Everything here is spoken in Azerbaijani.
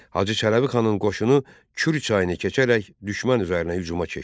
Hacı Çələbixanın qoşunu Kür çayını keçərək düşmən üzərinə hücuma keçdi.